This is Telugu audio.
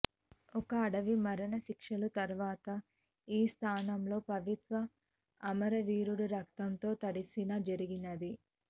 ఒక అడవి మరణశిక్షలు తర్వాత ఈ స్థానంలో పవిత్ర అమరవీరుడు రక్తం తో తడిసిన జరిగినది